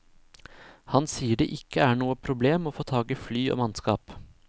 Han sier det ikke er noe problem å få tak i fly og mannskap.